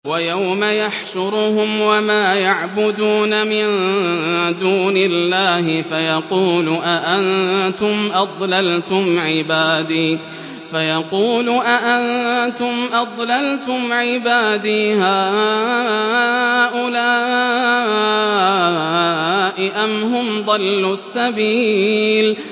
وَيَوْمَ يَحْشُرُهُمْ وَمَا يَعْبُدُونَ مِن دُونِ اللَّهِ فَيَقُولُ أَأَنتُمْ أَضْلَلْتُمْ عِبَادِي هَٰؤُلَاءِ أَمْ هُمْ ضَلُّوا السَّبِيلَ